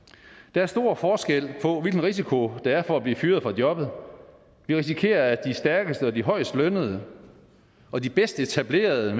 der er stor forskel på hvilken risiko der er for at blive fyret fra jobbet vi risikerer at de stærkeste de højest lønnede og de bedst etablerede